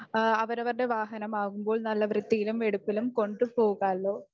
അവരവരുടെ വാഹനം ആകുമ്പോൾ നല്ല വൃത്തിയിലും വെടുപ്പിലും കൊണ്ടുപോകാലോ